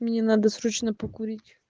мне надо срочно покурить